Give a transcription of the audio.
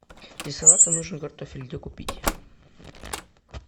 для салата нужен картофель где купить